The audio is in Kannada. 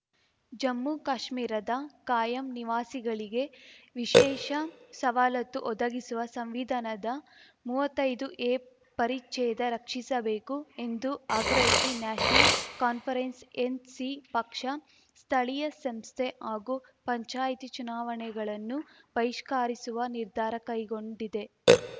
ಜಮ್ಮುಕಾಶ್ಮೀರದ ಕಾಯಂ ನಿವಾಸಿಗಳಿಗೆ ವಿಶೇಷ ಸವಾಲತ್ತು ಒದಗಿಸುವ ಸಂವಿಧಾನದ ಮೂವತ್ತೈದು ಎ ಪರಿಚ್ಛೇದ ರಕ್ಷಿಸಬೇಕು ಎಂದು ಆಗ್ರಹಿಸಿ ನ್ಯಾಷನಲ್‌ ಕಾನ್ಫರೆನ್ಸ್ ಎನ್‌ಸಿ ಪಕ್ಷ ಸ್ಥಳೀಯ ಸಂಸ್ಥೆ ಹಾಗೂ ಪಂಚಾಯಿತಿ ಚುನಾವಣೆಗಳನ್ನು ಬಹಿಷ್ಕಾರಿಸುವ ನಿರ್ಧಾರ ಕೈಗೊಂಡಿದೆ